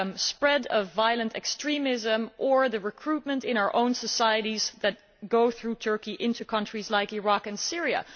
spread of violent extremism or the recruitment in our own societies of people who go through Turkey into countries like Iraq and Syria.